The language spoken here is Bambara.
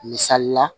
Misali la